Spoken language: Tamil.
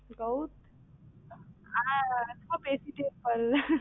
gowtham ஆனா ரொம்ப பேசிட்டே இருப்பார்